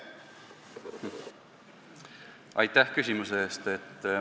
Aitäh küsimuse eest!